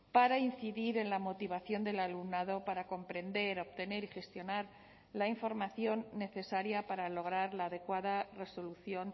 para incidir en la motivación del alumnado para comprender obtener y gestionar la información necesaria para lograr la adecuada resolución